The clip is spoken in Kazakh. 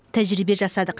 тәжірибе жасадық